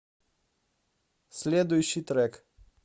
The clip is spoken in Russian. следующий трек